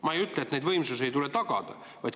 Ma ei ütle, et neid võimsusi ei tule tagada.